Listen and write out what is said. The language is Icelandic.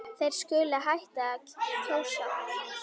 Þeir skuli hætta að kjósa.